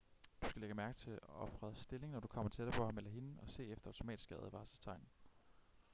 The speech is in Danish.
du skal lægge mærke til ofrets stilling når du kommer tættere på ham eller hende og se efter automatiske advarselstegn